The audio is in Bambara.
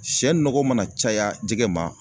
Sɛ nɔgɔ mana caya jɛgɛ ma